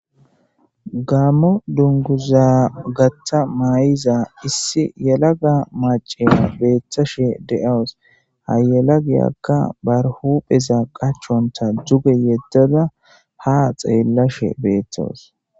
gaammo dunguza gatha may7iza issi yalaga macima beeththashe de7aws hayala giyakka barhupheza qachonta duge yeddada ha xeellashe beethtos